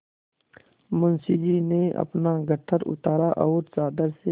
मुंशी जी ने अपना गट्ठर उतारा और चादर से